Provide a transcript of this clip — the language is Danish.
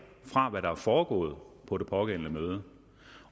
fra hvad der er foregået på det pågældende møde